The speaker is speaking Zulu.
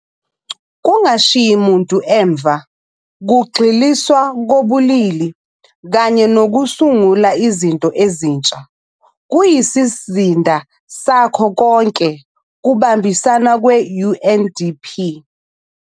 Kungashiyi muntu emuva, kugxiliswa kobulili kanye nokusungula izinto ezintsha kuyisizinda sakho konke kubambisana kwe-UNDP.